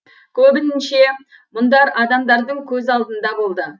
көбінше мұндар адамдардың көз алдында болды